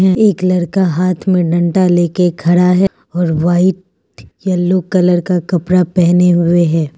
एक लड़का हाथ में डंडा लेके खड़ा है और व्हाइट यलो कलर का कपड़ा पहने हुए है।